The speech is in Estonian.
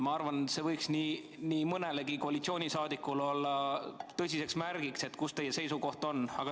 Ma arvan, see võiks nii mõnelegi koalitsiooniliikmele olla tõsiseks märgiks, mis teie seisukoht on.